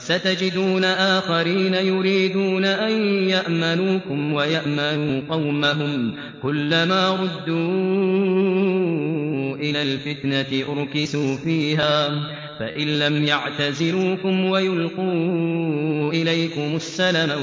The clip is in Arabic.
سَتَجِدُونَ آخَرِينَ يُرِيدُونَ أَن يَأْمَنُوكُمْ وَيَأْمَنُوا قَوْمَهُمْ كُلَّ مَا رُدُّوا إِلَى الْفِتْنَةِ أُرْكِسُوا فِيهَا ۚ فَإِن لَّمْ يَعْتَزِلُوكُمْ وَيُلْقُوا إِلَيْكُمُ السَّلَمَ